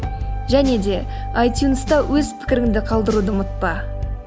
және де айтюнста өз пікіріңді қалдыруды ұмытпа